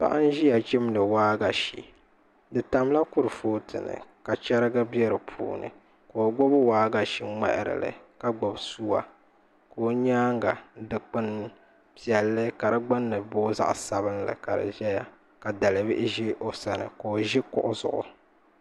Paɣa n ʒiya chimdi waagashe di tamla kurifooti ni ka chɛrigi bɛ dinni ka o gbuni waagashe ŋmaharili ka gbubi suwa ka o nyaanga dikpuni piɛlli ka di gbunni booi zaɣ sabinli ka di ʒɛya ka dalibihi ʒi o sani ka o ʒi kuɣu zuɣu